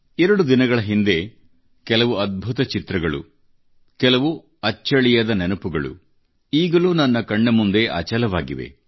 ಎರಡು ದಿನಗಳ ಹಿಂದೆ ಕೆಲವು ಅದ್ಭುತ ಚಿತ್ರಗಳು ಕೆಲವು ಅಚ್ಚಳಿಯದ ನೆನಪುಗಳು ಈಗಲೂ ನನ್ನ ಕಣ್ಣ ಮುಂದೆ ಅಚಲವಾಗಿವೆ